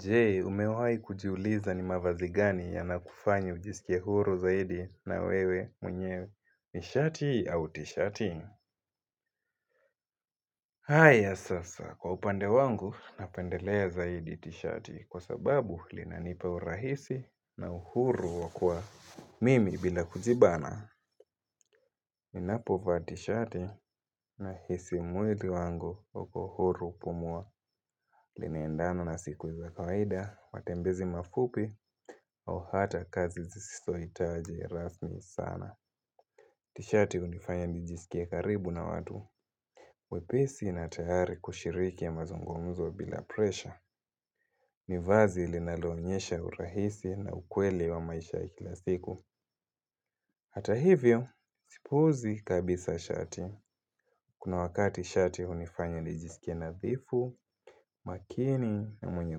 Je, umewai kujiuliza ni mavazi gani yanakufanya ujisikie huru zaidi na wewe mwenyewe ni shati au t-shati? Haya sasa, kwa upande wangu napendelea zaidi t-shati kwa sababu linanipa urahisi na uhuru wa kuwa mimi bila kujibana. Ninapovaa tishati nahisi mwili wangu uko huru pumua Linaendana na siku za kawaida, matembezi mafupi au hata kazi zisitohitaji rasmi sana Tishati hunifanya nijisikie karibu na watu wepesi na tayari kushiriki ya mazungumuzo bila presha ni vazi linalonyesha urahisi na ukweli wa maisha ikila siku Hata hivyo, sipuuzi kabisa shati Kuna wakati shati hunifanya nijisikie nadhifu, makini na mwenye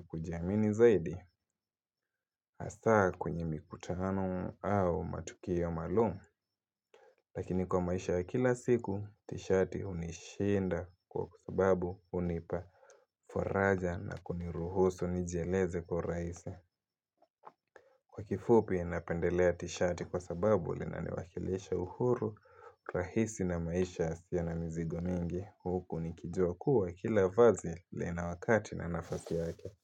kujiamini zaidi Hasa kwenye mikutano au matukio maalum Lakini kwa maisha ya kila siku tishati unishinda kwa sababu hunipa faraja na kuniruhusu nijieleze kwa urahisi. Kwa kifupi napendelea tishati kwa sababu linaniwakilisha uhuru rahisi na maisha yasiyo na mzigo mingi Huku nikijua kua kila vazi lina wakati na nafasi yake.